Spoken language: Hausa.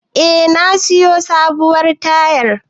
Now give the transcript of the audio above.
Eh, na siyo sabuwar tayar.